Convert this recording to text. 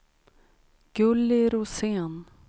Gulli Rosén